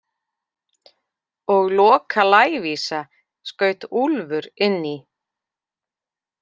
Og Loka lævísa, skaut Úlfur inn í.